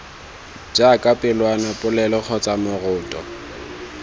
jaaka pelwana popelo kgotsa moroto